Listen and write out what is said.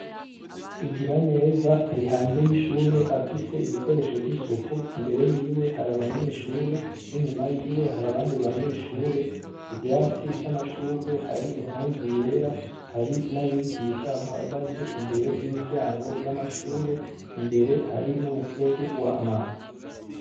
Igiraneza ari hanze y'ishure afise ibikoresho vy'isuku, imbere yiwe hari abanyeshure n'inyuma yiwe hari abandi banyeshure, ku vyatsi vy'amashurwe hari impuzu yera, hari n'abigisha bahagaze imbere y'imiryango y'amashure, imbere hari n'umuferege w'amazi.